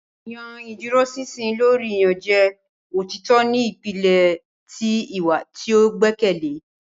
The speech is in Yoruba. yan iduroṣinṣin lori iyanjẹ; Otitọ ni ipilẹ ti iwa ti o gbẹkẹle.